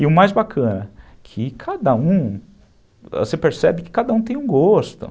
E o mais bacana, que cada um, você percebe que cada um tem um gosto.